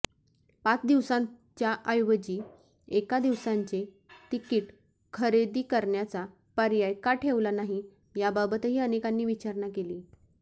पाच दिवसांच्याऐवजी एका दिवसाचे तिकीट खरेदी करण्याचा पर्याय का ठेवला नाही याबाबतही अनेकांनी विचारणा केली